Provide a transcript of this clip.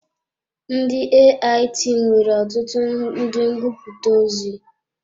Ndị AIT nwere ọtụtụ ndị ngụputa ozi.